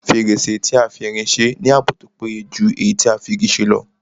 Fèrèsé tí a fi irin se ní ààbò tó péye jù èyí tí a fi Igi ṣe lọ